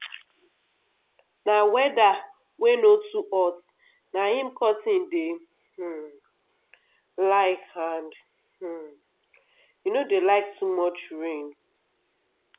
na weather wey no too hot na im cotton dey um like and um e no dey like too much rain